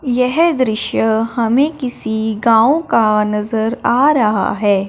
येह दृश्य हमें किसी गांव का नजर आ रहा है।